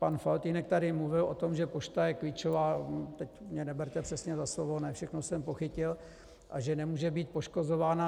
Pan Faltýnek tady mluvil o tom, že pošta je klíčová, teď mě neberte přesně za slovo, ne všechno jsem pochytil, a že nemůže být poškozována.